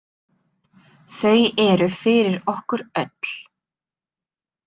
Þau eru fyrir okkur öll.